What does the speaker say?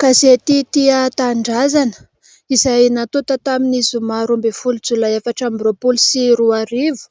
Gazety tia tanindrazana izay natota tamin'ny zoma roa ambin'ny folo jolay efatr' ambin'ny roapolo sy roarivo